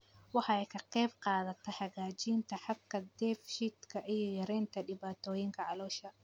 Waxay ka qaybqaadataa hagaajinta habka dheef-shiidka iyo yaraynta dhibaatooyinka caloosha.